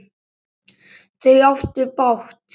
Þau áttu bágt!